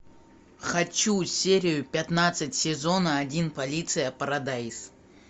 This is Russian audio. хочу серию пятнадцать сезона один полиция парадайз